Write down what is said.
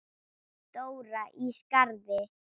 Dóra í Skarði.